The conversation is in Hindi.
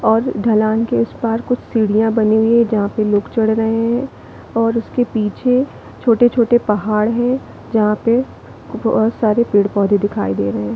और ढलान के उस पार कुछ सीढ़ियाँ बनी हुई है जहाँ पर लोग चढ़ रहे है और उसके पीछे छोटे-छोटे पहाड़ है जहाँ पे बहोत सारे पेड़-पौधे दिखाई दे रहे है।